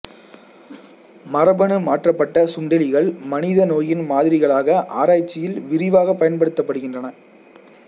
மரபணு மாற்றப்பட்ட சுண்டெலிகள் மனித நோயின் மாதிரிகளாக ஆராய்ச்சியில் விரிவாகப் பயன்படுத்தப்படுகின்றன